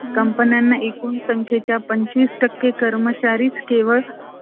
company ना एकूण संख्येच्या पंचवीस टक्के कर्मचारी केवळ ,